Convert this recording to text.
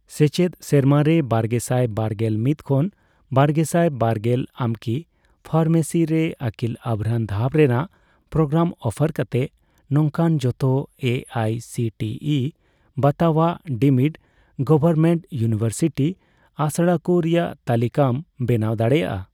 ᱥᱮᱪᱮᱫ ᱥᱮᱨᱢᱟᱨᱮ ᱵᱟᱨᱜᱮᱥᱟᱭ ᱵᱟᱨᱜᱮᱞ ᱢᱤᱛ ᱠᱷᱚᱱ ᱵᱟᱨᱜᱮᱥᱟᱭ ᱵᱟᱨᱜᱮᱞ ᱟᱢᱠᱤ ᱯᱷᱟᱨᱢᱮᱥᱤ ᱨᱮ ᱟᱹᱠᱤᱞ ᱟᱵᱷᱨᱟᱱ ᱫᱷᱟᱯ ᱨᱮᱱᱟᱜ ᱯᱨᱳᱜᱨᱟᱢ ᱚᱯᱷᱟᱨ ᱠᱟᱛᱮ ᱱᱚᱝᱠᱟᱱ ᱡᱷᱚᱛᱚ A I C T E ᱵᱟᱛᱟᱣᱟᱜ ᱰᱤᱢᱰ ᱜᱚᱣᱚᱨᱢᱮᱱᱴ ᱤᱭᱩᱱᱤᱣᱮᱨᱥᱤᱴᱤ ᱟᱥᱲᱟᱠᱩ ᱨᱮᱭᱟᱜ ᱛᱟᱞᱤᱠᱟᱢ ᱵᱮᱱᱟᱣ ᱫᱟᱲᱮᱭᱟᱜᱼᱟ ?